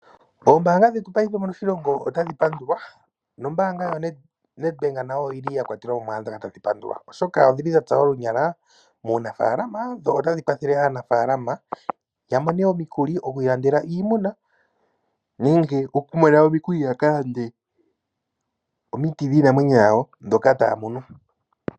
Oombanga dhetu paife moshilongo otadhi pandulwa. Nombaanga yo NedBank nayo oyi li ya kwatelwamo mu dhoka tadhi pandulwa oshoka odhi li dha tsa olunyala uunafalama. Dho otadhi kwathele aanafalama ya mone omikuli oku ilandela iimuna, nenge okumona omikuli ya ka lande omiti dhiinamwenyo yawo dhoka taya mono.